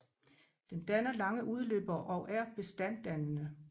Den danner lange udløbere og er bestanddannende